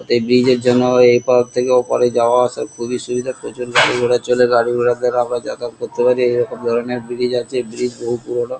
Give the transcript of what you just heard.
এই ব্রিজ এর জন্য আমরা এপার থেকে ওপর এ যাওয়াআসার খুবই সুবিধা প্রচুর গাড়িঘোড়া চলে এই গাড়িঘোড়ার দ্বারা আমরা যাতায়াত করতে পারি এরকম ধরণের ব্রিজ আছে ব্রিজ বহু পুরোনো ।